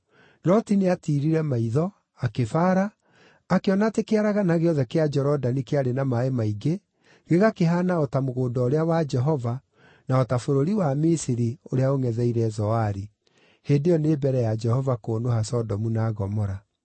Loti nĩatiirire maitho, akĩbaara, akĩona atĩ kĩaragana gĩothe kĩa Jorodani kĩarĩ na maaĩ maingĩ, gĩgakĩhaana o ta mũgũnda ũrĩa wa Jehova, na o ta bũrũri wa Misiri, ũrĩa ũngʼetheire Zoari. (Hĩndĩ ĩyo nĩ mbere ya Jehova kũnũha Sodomu na Gomora.)